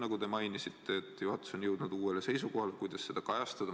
Nagu te mainisite, et juhatus on jõudnud uuele seisukohale, kuidas seda kajastada.